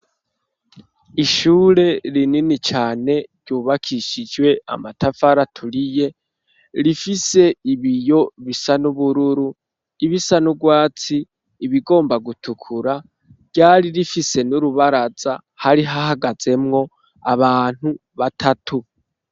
Ishure rinini cane ryubakishijwe amatafari aturiye rifise ibiyo bisa n'ubururu ibisa nurwatsi ibigomba gutukura ryari rifise n'urubaraza hari hahagazemwo abantu batatu.